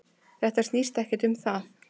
Þetta snýst ekkert um það.